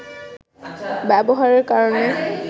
ব্যবহারের কারণে